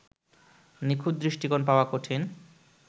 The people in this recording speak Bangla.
নিখুঁত দৃষ্টিকোণ পাওয়া কঠিন